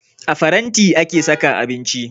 A faranti ake saka abinci